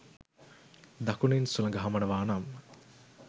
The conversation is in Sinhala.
දකුණින් සුළඟ හමනවා නම්